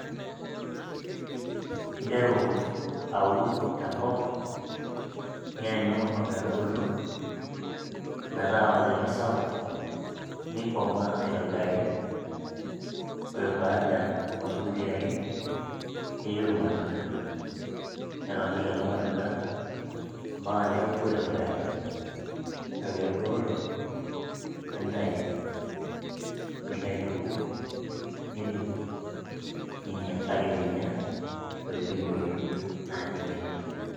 interu aun tenkop nianyu ometubulu ometaa olchani sapuk nikomaa aitobiraki ore baada oo irkuti arin neyiu irmatunda, netoni lelo matunda mpaka neoku aitobiraki ore peeku eoto nintayu nilo aituku nidung ninya kakeminya ntokitin e oriong naaji nkinyat.